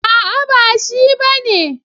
A'a ba shi bane.